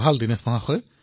ঠিক আছে দিনেশজী